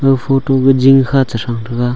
ga photo jing kha cherang taiga.